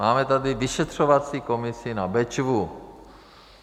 Máme tady vyšetřovací komisi na Bečvu.